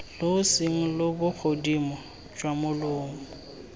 loseeng lo bogodimo jwa molomo